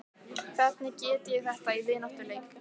Hvernig get ég þetta í vináttuleik?